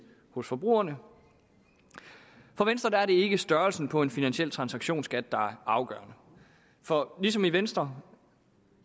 hos forbrugerne for venstre er det ikke størrelsen på en finansiel transaktionsskat der er afgørende for ligesom vi i venstre